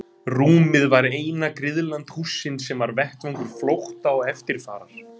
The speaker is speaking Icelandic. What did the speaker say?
Rúmið var eina griðland hússins sem var vettvangur flótta og eftirfarar.